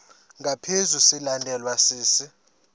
ngaphezu silandelwa sisi